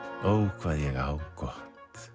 ó hvað ég á gott